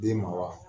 Den ma wa